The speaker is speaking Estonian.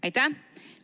Aitäh!